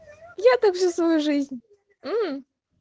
я также свою жизнь мм